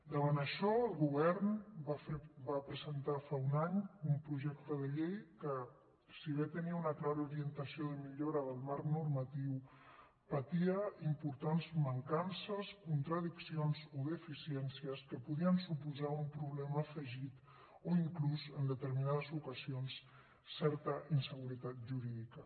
davant això el govern va presentar fa un any un projecte de llei que si bé tenia una clara orientació de millora del marc normatiu patia importants mancances contradiccions o deficiències que podien suposar un problema afegit o inclús en determinades ocasions certa inseguretat jurídica